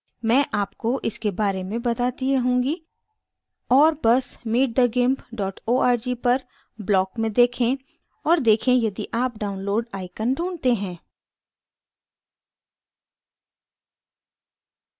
मैं आपको इसके बारे में बताती रहूँगी और बस meetthegimp org पर block में देखें और देखें यदि आप download icon ढूँढते हैं